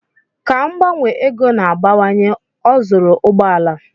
Ka mgbanwe ego na-abawanye, ọ zụrụ ụgbọala.